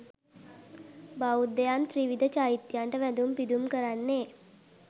බෞද්ධයන් ත්‍රිවිධ චෛත්‍යයන්ට වැඳුම් පිදුම් කරන්නේ්